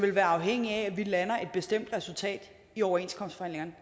vil være afhængig af at vi lander et bestemt resultat i overenskomstforhandlingerne